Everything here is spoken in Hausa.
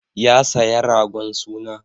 Ya saya ragon suna.